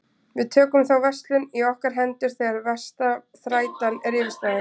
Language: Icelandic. Við tökum þá verslun í okkar hendur þegar versta þrætan er yfirstaðin.